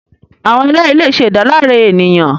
Awọn ẹlẹri le ṣe idalare eniyan